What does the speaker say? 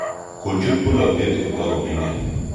Kochut polotet kotakomining'.